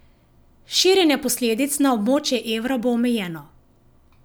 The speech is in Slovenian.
Širjenje posledic na območje evra bo omejeno.